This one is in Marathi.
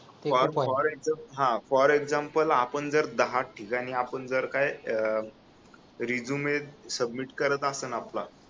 हा फॉर एक्साम्पल आपण जर का दहा ठिकाणी आपण जर का रिजूम सबमिट करत आसन आपला